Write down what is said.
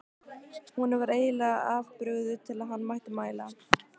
Honum var eiginlega of brugðið til að hann mætti mæla.